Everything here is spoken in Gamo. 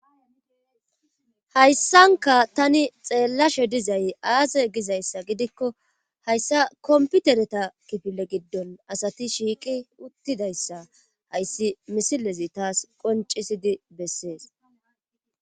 Hayssanka tani xeellashe dizay aaze gizayssa gidikko hayssa komputereta kifile giddon asati shiiqi uttidayssa hayssi misilezi taas qoncisidi bessees.